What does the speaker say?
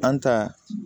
An ta